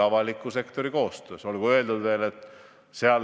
Ja selleks peavad tegema koostööd nii era- kui ka avalik sektor.